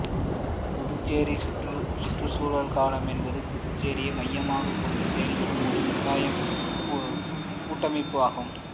புதுச்சேரி சுற்றுச்சூழல் கழகம் என்பது புதுச்சேரியை மையமாகக் கொண்டு செயல்படும் ஒரு கூட்டமைப்பு ஆகும்